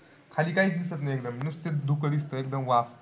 खाली काहीच दिसत नाही एकदम. नुसतंच धुकं दिसतं एकदम वाफ.